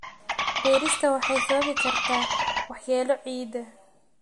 Beerista waxay sababi kartaa waxyeello ciidda.